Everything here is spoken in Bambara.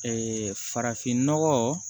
farafin nɔgɔ